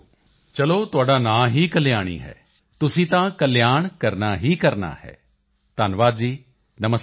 ਚਲੋ ਤੁਹਾਡਾ ਨਾਂ ਹੀ ਕਲਿਆਣੀ ਹੈ ਤੁਸੀਂ ਤਾਂ ਕਲਿਆਣ ਕਰਨਾ ਹੀ ਕਰਨਾ ਹੈ ਧੰਨਵਾਦ ਜੀ ਨਮਸਕਾਰ